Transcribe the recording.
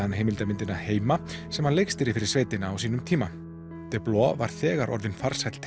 heimildarmyndina heima sem hann leikstýrði fyrir sveitina á sínum tíma deblois var þegar orðinn farsæll